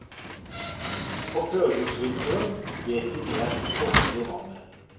På førjulsvinteren vet de mer om forholdene i vannet.